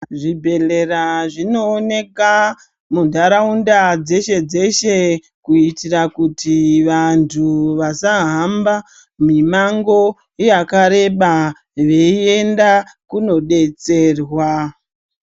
Zvibhedhleya zvinooneka muntaraunda dzeshe dzeshe kuitira kuti vantu vasahamba mimango yakareba veienda kunodetserwa.